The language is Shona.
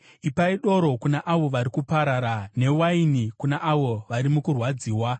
Ipai doro kuna avo vari kuparara, newaini kuna avo vari mukurwadziwa: